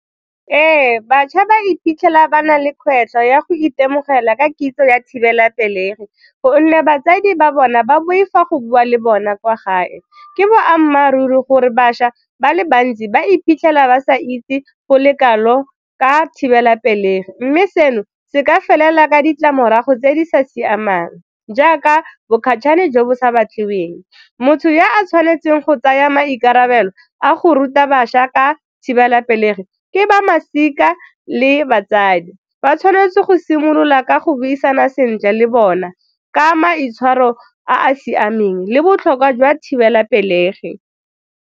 Ee, batjha ba iphitlhela ba na le kgwetlho ya go itemogela ka kitso ya thibelapelegi gonne batsadi ba bona ba boifa go bua le bona kwa gae. Ke boammaaruri gore bašwa ba le bantsi ba iphitlhela ba sa itse go le kalo ka thibelapelegi mme seno se ka felela ka ditlamorago tse di sa siamang jaaka bo jo bo sa batlegeng, motho ya a tshwanetseng go tsaya maikarabelo a go ruta bašwa ka thibelapelegi ke ba masika le batsadi, ba tshwanetse go simolola ka go buisana sentle le bona ka maitshwaro a a siameng le botlhokwa jwa thibelapelegi.